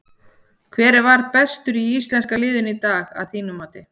Hver var bestur í íslenska liðinu í dag að þínu mati?